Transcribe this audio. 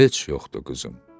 Heç yoxdur qızım.